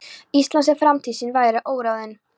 Íslands, en framtíð sín væri óráðin.